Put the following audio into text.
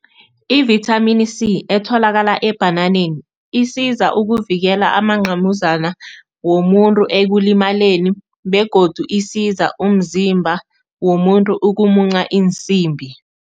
Ivithamini C etholakala ebhananeni, isiza ukuvikela amanqamuzana womuntu ekulimaleni begodu isiza umzimba womuntu ukumunca iinsimbi.